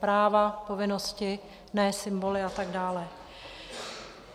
Práva, povinnosti, ne symboly a tak dále.